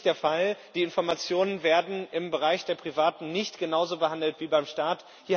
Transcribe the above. Das ist nicht der Fall, die Informationen werden im Bereich der Privaten nicht genauso behandelt wie beim Staat.